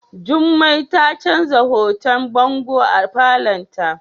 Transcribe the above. Jummai ta canza hoton bango a falon ta.